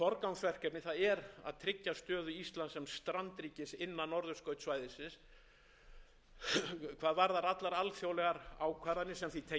forgangsverkefni er að tryggja stöðu íslands sem strandríkis innan norðurskautssvæðisins hvað varðar allar alþjóðlegar ákvarðanir sem því tengjast og þar með þróun þess á grundvelli